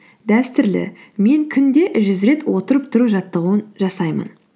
дәстүрлі мен күнде жүз рет отырып тұру жаттығуын жасаймын